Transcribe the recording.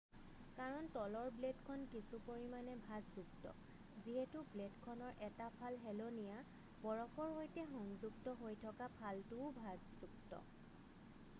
কাৰণ তলৰ ব্লেডখন কিছু পৰিমানে ভাঁজযুক্ত যিহেতু ব্লেডখনৰ 1টা ফাল হেলনীয়া বৰফৰ সৈতে সংযুক্ত হৈ থকা ফালটোও ভাঁজযুক্ত